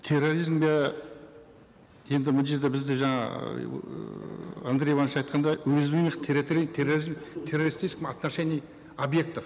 терроризмге енді мына жерде бізде жаңа ыыы андрей иванович айтқандай уязвимых терроризм в террористическом отношении объектов